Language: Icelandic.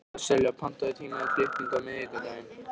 Sesselía, pantaðu tíma í klippingu á miðvikudaginn.